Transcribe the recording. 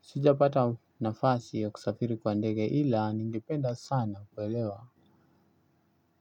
Sijapata nafasi ya kusafiri kwa ndege ila ningependa sana kuelewa.